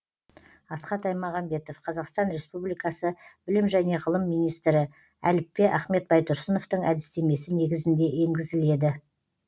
асхат аймағамбетов қазақстан республикасы білім және ғылым министрі әліппе ахмет байтұрсыновтың әдістемесі негізінде енгізіледі